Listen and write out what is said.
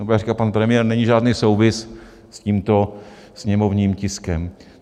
Nebo jak říká pan premiér, není žádný souvis s tímto sněmovním tiskem.